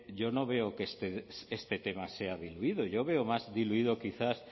yo no veo que este tema sea diluido yo veo más diluido quizás